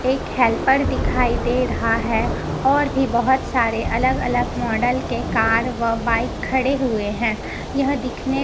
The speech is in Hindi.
एक हेल्पर दिखाई दे रहा है और भी बहोत सारे अलग अलग मॉडल के कार व बाइक खड़े हुए हैं यह दिखने--